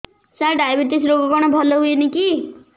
ସାର diabetes ରୋଗ କଣ ଭଲ ହୁଏନି କି